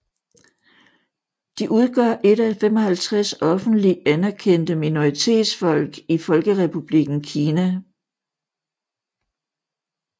De udgør et af de 55 offentlig anerkendte minoritetsfolk i Folkerepublikken Kina